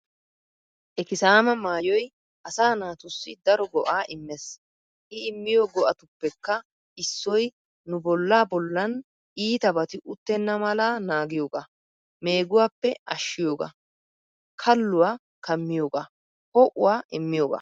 Ikisama maayoy asa naatussi daro go"a immees.I immiyo go"attupekka issoy nu bolla bollan ittabati uttena mala naaggiyooga, megguwappe ashshiyooga, kalluwa kammiyooga, ho"uwaa immiyooga.